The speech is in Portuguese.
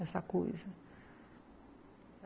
Essa coisa.